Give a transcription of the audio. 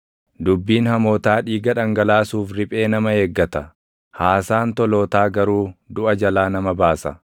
Dubbiin hamootaa dhiiga dhangalaasuuf // riphee nama eeggata; haasaan tolootaa garuu duʼa jalaa nama baasa.